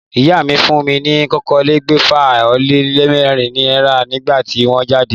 Ìyá mi fún mi ni okòólégbèfà-o-lé-mérin náírà nígbà tí wón jáde